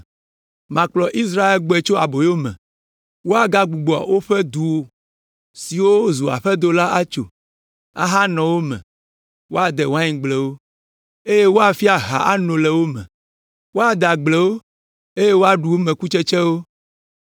“Makplɔ Israel agbɔe tso aboyo me, woagbugbɔ woƒe du siwo zu aƒedo la atso, ahanɔ wo me, woade waingblewo, eye woafia aha ano le wo me. Woade agblewo eye woaɖu wo me kutsetsewo.